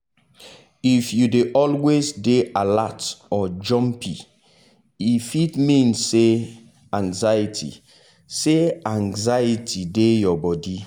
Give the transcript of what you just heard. if you dey always dey alert or jumpy e fit mean say anxiety say anxiety dey your body.